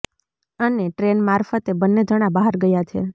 અને ટ્રેન મારફતે બંને જણા બહાર ગયા છે